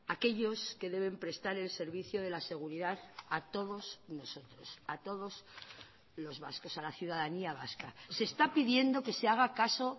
aquellos que deben prestar el servicio de la seguridad a todos nosotros a todos los vascos a la ciudadanía vasca se está pidiendo que se haga caso